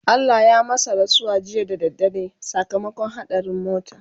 Allah ya masu rasuwa jiya da dare sakamakon haɗarin mota